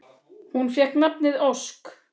Hún fékk nafnið Ósk.